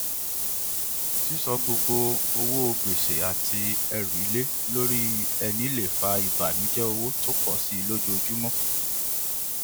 sísọ gbogbo owó gbèsè àti ẹrù ilé lórí ẹni le fà ìbànùjẹ owó tó pọ síi lójoojúmọ